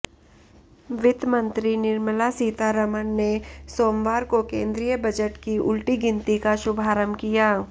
वित्त मंत्री निर्मला सीतारमण ने सोमवार को केंद्रीय बजट की उलटी गिनती का शुभारंभ किया